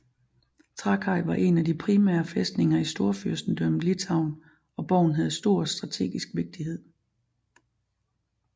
Trakai var en af de primære fæstninger i Storfyrstendømmet Litauen og borgen havde stor strategisk vigtighe